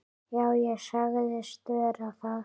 Já, ég sagðist vera það.